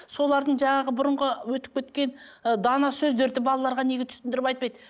солардың жаңағы бұрынғы өтіп кеткен ы дана сөздерді балаларға неге түсіндіріп айтпайды